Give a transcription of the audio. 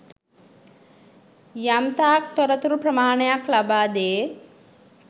යම්තාක් තොරතුරු ප්‍රමාණයක් ලබාදේ.